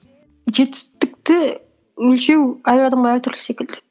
жетістікті өлшеу әр адамға әртүрлі секілді